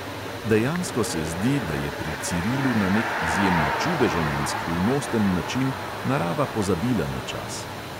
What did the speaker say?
Dejansko se zdi, da je pri cirilu na nek izjemno čudežen in skrivnosten način narava pozabila na čas.